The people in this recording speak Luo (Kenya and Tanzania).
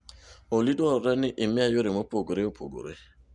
Olly dwarore ni imiya yore mopogore opogore